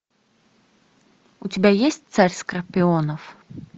у тебя есть царь скорпионов